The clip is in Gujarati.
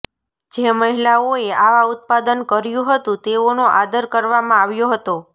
જે મહિલાઓએ આવા ઉત્પાદન કર્યું હતું તેઓનો આદર કરવામાં આવ્યો હતો